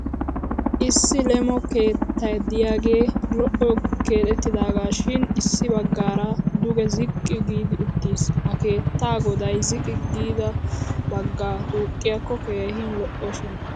Issi leemo keetta de'iyagee lo'o keexettidaagaashin issi baggaara duge ziqqi giidi uuttiis. Ha keettaa goday ziqqi giida baggaa tuuqiyakko keehi lo'oshin,,